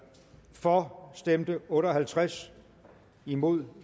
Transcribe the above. for stemte otte og halvtreds imod